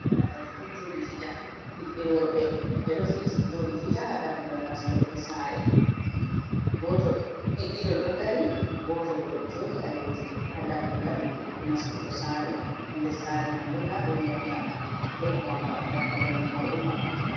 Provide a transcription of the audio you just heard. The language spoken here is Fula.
Guda tati ɗo joɗi fija ɓiɓɓe worɓe, ɓe ɗo joɗi fija ha dammugal nastorde sare, ɗiɗo ɗo ɗo dari, goto bo ɗo joɗi ha leddi ha dammugal nastugo sare ndessare man bo nda ɗon mota ɗo vanga dammugal mai bo ɗo maɓɓiti.